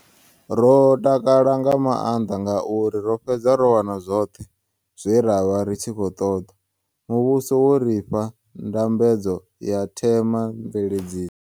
Ro takala nga mannḓa ngauri ro fhedza ro wana zwoṱhe zwe ra vha ri tshi khou ṱoḓa. Muvhuso wo ri fha ndambedzo ya thema mveledziso.